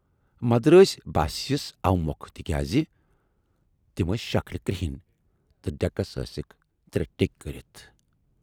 مدرٲسۍ باسے یَس اوٕمۅکھٕ تِکیازِ تِم ٲسۍ شکلہِ کرہٕنۍ تہٕ ڈٮ۪کس ٲسِکھ ترے ٹیکۍ کٔرِتھ۔